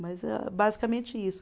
Mas é basicamente isso.